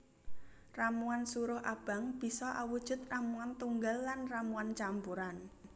Ramuan suruh abang bisa awujud ramuan tunggal lan ramuan campuran